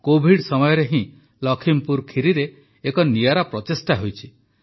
Covid ସମୟରେ ହିଁ ଲଖିମପୁର ଖିରିରେ ଏକ ନିଆରା ପ୍ରଚେଷ୍ଟା ହୋଇଛି